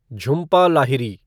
Jhumpa Lahiri